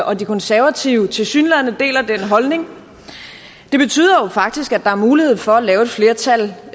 og de konservative tilsyneladende deler den holdning det betyder jo faktisk at der er mulighed for at lave et flertal